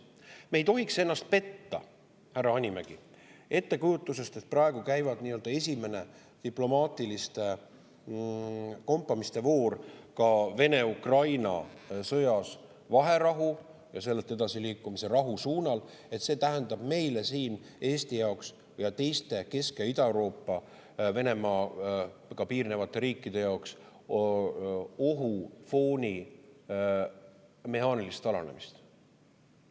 Me ei tohiks ennast petta, härra Hanimägi, ettekujutusest, et kuna praegu käib nii-öelda esimene diplomaatiliste kompamiste voor Vene-Ukraina sõjas vaherahu ja sealt rahu suunas edasiliikumise, siis see tähendab meile siin, Eesti ja teiste Kesk‑ ja Ida-Euroopa Venemaaga piirnevate riikide jaoks, ohufooni mehaanilist alanemist.